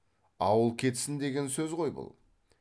ауыл кетсін деген сөз ғой бұл